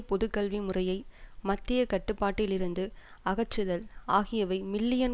பொது கல்வி முறையை மத்திய கட்டுப்பாட்டில் இருந்து அகற்றுதல் ஆகியவை மில்லியன்